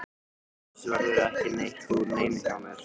Annars verður ekki neitt úr neinu hjá mér.